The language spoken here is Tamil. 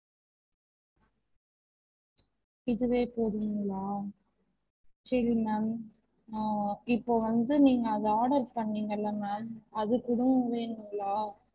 இதுவே போதுங்களா? சரி ma'am அஹ் இப்போ வந்து நீங்க அத order பண்ணிங்கல்ல ma'am அது கூட வேணுங்களா?